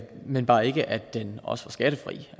men bare ikke at den også var skattefri